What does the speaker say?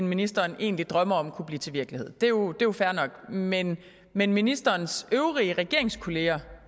ministeren egentlig drømmer om kunne blive til virkelighed det er jo fair nok men men ministerens øvrige regeringskolleger